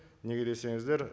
неге десеңіздер